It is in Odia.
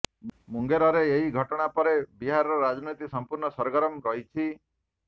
ମୁଙ୍ଗେରରେ ଏହି ଘଟଣା ପରେ ବିହାରର ରାଜନୀତି ସମ୍ପୂର୍ଣ୍ଣ ସରଗରମ ରହିଛି